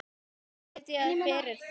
Ég mun biðja fyrir þér.